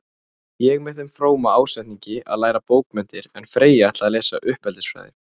Ég með þeim fróma ásetningi að læra bókmenntir, en Freyja ætlaði að lesa uppeldisfræði.